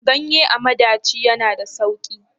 Ganye a madaci ya na da sauki?